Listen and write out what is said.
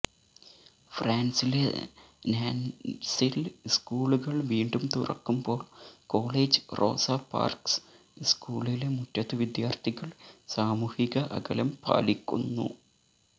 ഫ്രാൻസിലെ നാന്റസിൽ സ്കൂളുകള് വീണ്ടും തുറക്കുമ്പോൾ കോളേജ് റോസ പാർക്ക്സ് സ്കൂളിലെ മുറ്റത്ത് വിദ്യാർത്ഥികൾ സാമൂഹിക അകലം പാലിക്കുന്നു